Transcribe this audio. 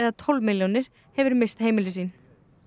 tólf milljónir hefur misst heimili sín